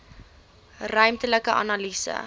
ruimtelike analise